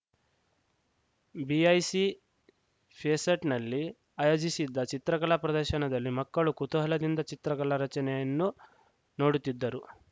BIC fest ನಲ್ಲಿ ಆಯೋಜಿಸಿದ್ದ ಚಿತ್ರಕಲಾ ಪ್ರದರ್ಶನದಲ್ಲಿ ಮಕ್ಕಳು ಕುತೂಹಲದಿಂದ ಚಿತ್ರಕಲಾ ರಚನೆಯನ್ನು ನೋಡುತ್ತಿದ್ದರು